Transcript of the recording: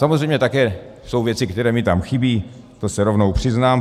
Samozřejmě jsou také věci, které mi tam chybí, to se rovnou přiznám.